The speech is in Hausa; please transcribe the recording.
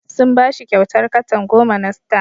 Sun ba shi kyautar katan goma na star.